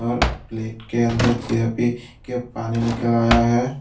और प्लेट के अंदर जलेबी के पानी निकाल आया है।